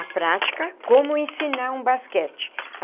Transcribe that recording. A prática, como ensinar um basquete.